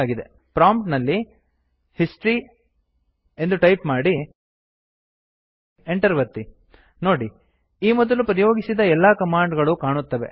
prompt ನಲ್ಲಿ history ಎಂದು type ಮಾಡಿ Enter ಒತ್ತಿ ನೋಡಿ ಈ ಮೊದಲು ಪ್ರಯೋಗಿಸಿದ ಎಲ್ಲ ಕಮಾಂಡ್ ಗಳೂ ಕಾಣುತ್ತವೆ